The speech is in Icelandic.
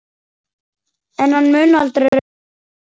En hann mun aldrei rofna.